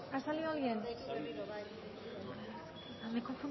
ha salido alguien me he confundido